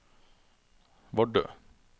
Vardø